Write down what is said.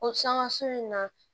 O sanŋa so in na